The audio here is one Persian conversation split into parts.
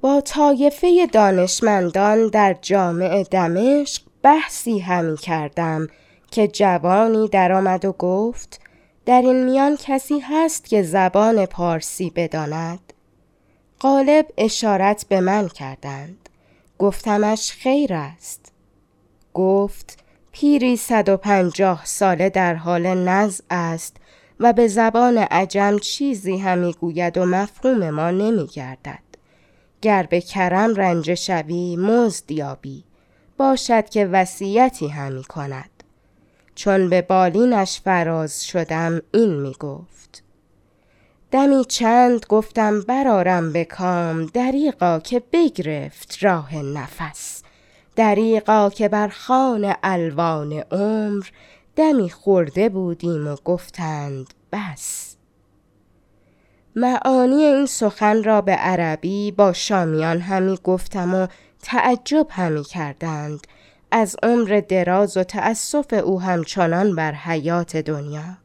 با طایفه دانشمندان در جامع دمشق بحثی همی کردم که جوانی در آمد و گفت در این میان کسی هست که زبان پارسی بداند غالب اشارت به من کردند گفتمش خیر است گفت پیری صد و پنجاه ساله در حالت نزع است و به زبان عجم چیزی همی گوید و مفهوم ما نمی گردد گر به کرم رنجه شوی مزد یابی باشد که وصیتی همی کند چون به بالینش فراز شدم این می گفت دمی چند گفتم بر آرم به کام دریغا که بگرفت راه نفس دریغا که بر خوان الوان عمر دمی خورده بودیم و گفتند بس معانی این سخن را به عربی با شامیان همی گفتم و تعجب همی کردند از عمر دراز و تأسف او همچنان بر حیات دنیا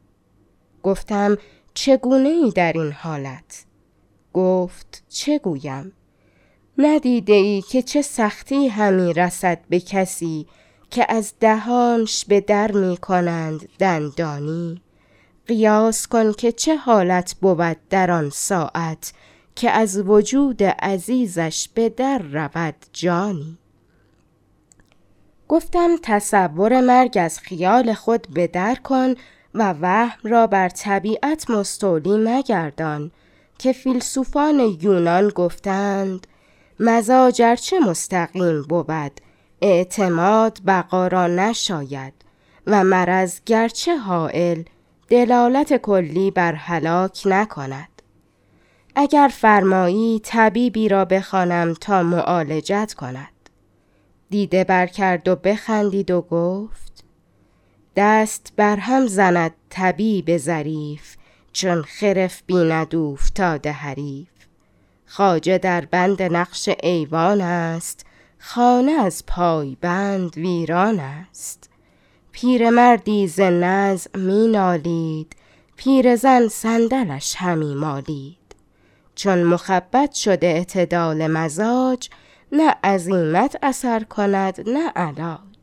گفتم چگونه ای در این حالت گفت چه گویم ندیده ای که چه سختی همی رسد به کسی که از دهانش به در می کنند دندانی قیاس کن که چه حالت بود در آن ساعت که از وجود عزیزش به در رود جانی گفتم تصور مرگ از خیال خود به در کن و وهم را بر طبیعت مستولی مگردان که فیلسوفان یونان گفته اند مزاج ار چه مستقیم بود اعتماد بقا را نشاید و مرض گرچه هایل دلالت کلی بر هلاک نکند اگر فرمایی طبیبی را بخوانم تا معالجت کند دیده بر کرد و بخندید و گفت دست بر هم زند طبیب ظریف چون خرف بیند اوفتاده حریف خواجه در بند نقش ایوان است خانه از پایبند ویران است پیرمردی ز نزع می نالید پیرزن صندلش همی مالید چون مخبط شد اعتدال مزاج نه عزیمت اثر کند نه علاج